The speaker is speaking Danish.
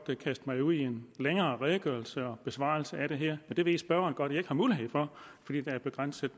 kaste mig ud i en længere redegørelse og besvarelse af det her men det ved spørgeren godt at jeg ikke har mulighed for fordi der er begrænset